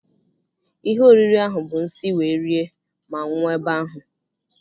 Ihe oriri ahụ bụ nsi wee rie ma nwụọ ebe ahụ.